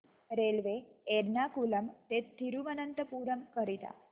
railway Ernakulam ते थिरुवनंतपुरम करीता